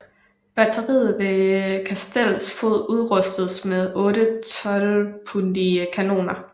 Batteriet ved kastellets fod udrustedes med otte tolvpundige kanoner